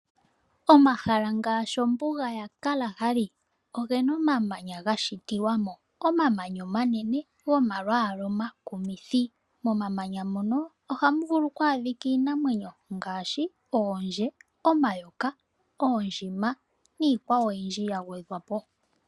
Omahala ngaashi ombuga ya Kalahari ogena omamanya ga shitilwa mo, omamanya omanene gomalwaala omakumithi. Momamanya mono ohamu vulu oku adhika iinamwenyo ngaashi oondje, omayoka, oondjima niikwawo oyindji ya gwedhwa po.